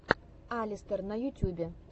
алистер на ютюбе